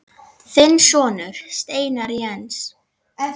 Þinn sonur, Steinar Jens.